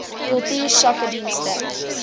kultuursakedienste